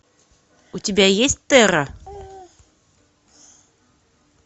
у тебя есть терра